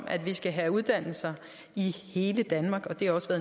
at vi skal have uddannelser i hele danmark det har også